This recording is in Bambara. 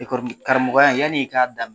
Karamɔgɔya in yani i k'a daminɛ